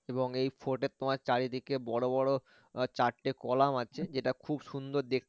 এবং এই fort এ তোমার চারিদিকে বড় বড় আহ চারটে কলাম আছে যেটা খুব সুন্দর দেখতে